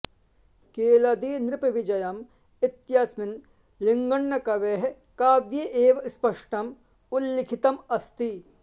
केळदीनृपविजयम् इत्यस्मिन् लिङ्गण्णकवेः काव्ये एवं स्पष्टम् उल्लिखितम् अस्ति